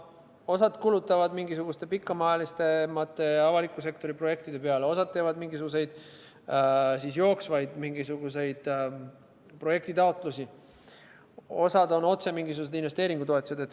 Osa kulutab pikemaajaliste avaliku sektori projektide peale, osa teeb jooksvaid projektitaotlusi, osa on otse investeeringutoetused.